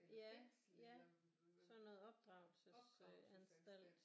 Ja ja sådan noget opdragelsesanstalt